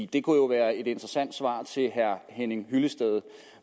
det kunne være et interessant svar til herre henning hyllested